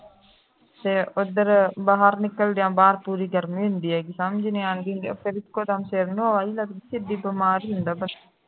ਫੇਰ ਉਧਰ ਬਾਹਰ ਨਿਕਲਦੇ ਹਾਂ ਬਾਹਰ ਪੂਰੀ ਗਰਮੀ ਹੁੰਦੀ ਹੈਗੀ ਸਮਝ ਨਹੀਂ ਆਉਂਦੀ ਹੁੰਦੀ ਹੈਗੀ ਫਿਰ ਇਕੇ ਦਮ ਸਿਰ ਨੂੰ ਹਵਾ ਵੀ ਲਗਦੀ ਏ ਬੰਦਾ ਬਿਮਾਰ ਹੀ ਹੁੰਦਾ ਸਿੱਧਾ